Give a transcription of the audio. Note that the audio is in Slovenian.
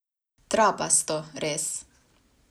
Trapasto, res.